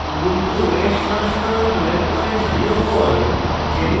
ubuntu os সংস্করণ 1204